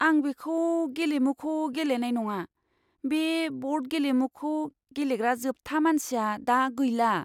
आं बेखौ गेलेमुखौ गेलेनाय नङा। बे ब'र्ड गेलेमुखौ गेलेग्रा जोबथा मानसिया दा गैला।